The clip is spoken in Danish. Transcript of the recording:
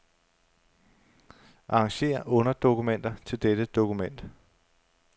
Arrangér underdokumenter til dette dokument.